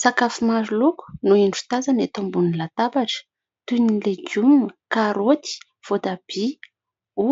Sakafo maro loko no indro tazana eto ambonin'ny latabatra, toy ny legioma, karaoty, voatabia,